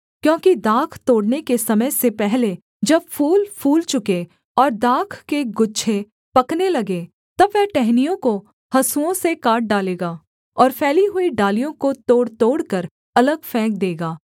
क्योंकि दाख तोड़ने के समय से पहले जब फूल फूल चुकें और दाख के गुच्छे पकने लगें तब वह टहनियों को हँसुओं से काट डालेगा और फैली हुई डालियों को तोड़तोड़कर अलग फेंक देगा